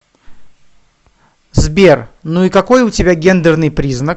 сбер ну и какой у тебя гендерный признак